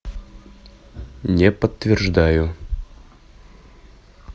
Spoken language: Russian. не подтверждаю